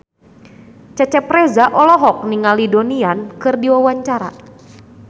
Cecep Reza olohok ningali Donnie Yan keur diwawancara